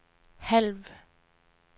halv